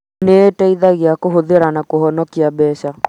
Nĩĩteithagĩrĩria kũhũthĩra na kũhonokia mbeca